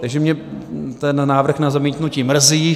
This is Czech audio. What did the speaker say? Takže mě ten návrh na zamítnutí mrzí.